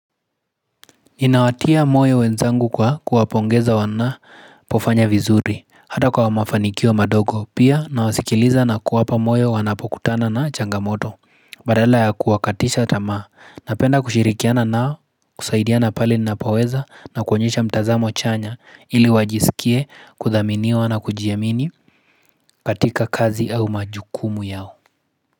Inawatia moyo wenzangu kwa kuwapongeza wanapofanya vizuri hata kwa mafanikio madogo pia na wasikiliza na kuwapa moyo wanapokutana na changamoto Badala ya kuwakatisha tamaa napenda kushirikiana nao kusaidiana pale nina poweza na kuonyesha mtazamo chanya ili wajisikie kuthaminiwa na kujiamini katika kazi au majukumu yao.